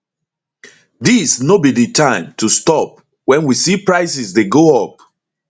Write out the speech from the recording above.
dis no be di time to stop wen we see prices dey go up